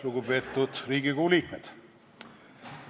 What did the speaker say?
Lugupeetud Riigikogu liikmed!